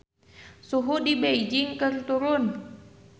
Suhu di Beijing keur turun